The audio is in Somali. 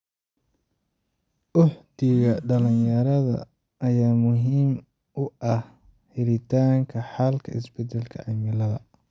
Uhdhigga dhalinyarada ayaa muhiim u ah helitaanka xalka isbedelka cimilada.